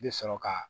I bɛ sɔrɔ ka